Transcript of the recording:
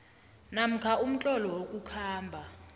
namkha umtlolo wokukhamba